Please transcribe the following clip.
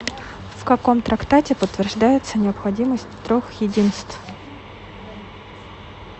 в каком трактате подтверждается необходимость трех единств